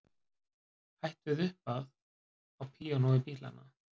Hætt við uppboð á píanói Bítlanna